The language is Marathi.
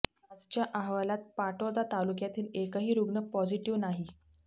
आजच्या अहवालात पाटोदा तालुक्यातील एकही रुग्ण पॉझिटिव्ह नाही